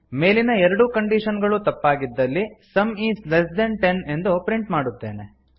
ಮೇಲಿನ ಎರಡೂ ಕಂಡೀಶನ್ ಗಳೂ ತಪ್ಪಾಗಿದ್ದಲ್ಲಿ sum is less than ten ಎಂದು ಪ್ರಿಂಟ್ ಮಾಡುತ್ತೇವೆ